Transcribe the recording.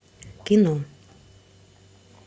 кино